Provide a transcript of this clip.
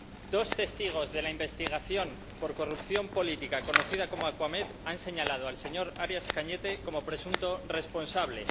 Dos testigos de la investigación por corrupción política conocida como caso Acuamed han señalado al señor Arias Cañete como presunto responsable.